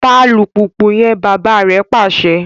Ta alupupu yẹn! bàbà rè pàṣẹ